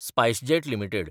SpiceJet limited